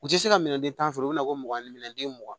U tɛ se ka minɛnden tan sɔrɔ u bɛna fɔ mugan ni den mugan